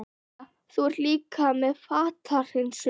Brynja: Þú ert líka með fatahreinsun?